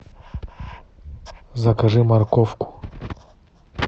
закажи морковку